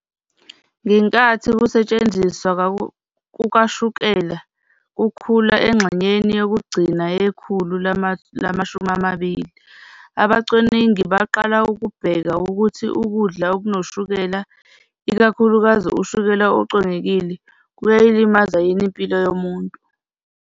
Ngenkathi ukusetshenziswa kukashukela kukhula engxenyeni yokugcina yekhulu lama-20, abacwaningi baqala ukubheka ukuthi ukudla okunoshukela, ikakhulukazi ushukela ocwengekile, kuyayilimaza yini impilo yomuntu.